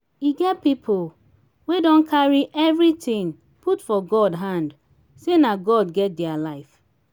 e get pipo wey don carry everything put for god hand sey na god get their life